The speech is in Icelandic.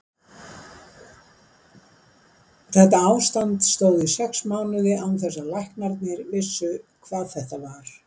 Þetta ástand stóð í sex mánuði án þess að læknarnir vissu hvað þetta var.